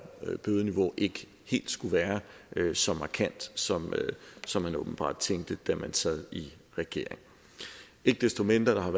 bødeniveau ikke helt skulle være så markant som som man åbenbart tænkte da man sad i regering ikke desto mindre har